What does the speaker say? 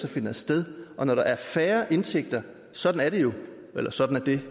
så finder sted og når der er færre indtægter sådan er det jo eller sådan er det